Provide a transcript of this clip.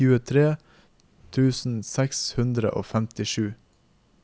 tjuetre tusen seks hundre og femtisju